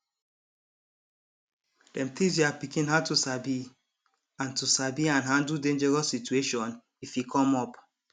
dem teach their pikin how to sabi and to sabi and handle dangerous situation if e come up